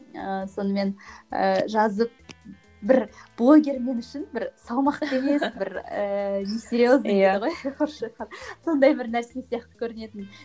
ы сонымен ыыы жазып бір блогер мен үшін бір салмақты емес бір ііі не серьезный дейді ғой сондай бір нәрсе сияқты көрінетін